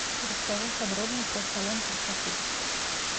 расскажи подробно про салон красоты